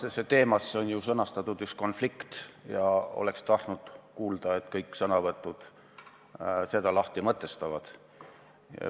Tänase teema sõnastusse on kätketud üks konflikt ja oleks tahtnud kuulda, et seda kõik sõnavõtjad lahti mõtestavad.